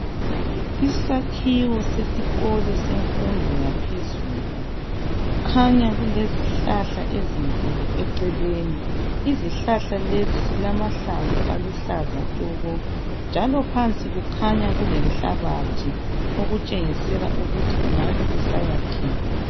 Isakhiwo sesikolo semfundo yaphezulu kukhanya kulezihlahla ezinkulu eceleni. Izihlahla lezi zilamahlamvu aluhlaza tshoko njalo phansi kukhanya kulenhlabathi okutshengisela ukuthi kungabe kusayakhiwa.